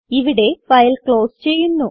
ഇവിടെ file close ചെയ്യുന്നു